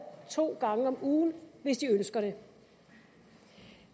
to gange om ugen hvis de ønsker det